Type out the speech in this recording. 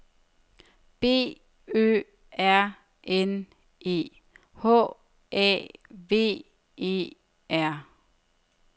B Ø R N E H A V E R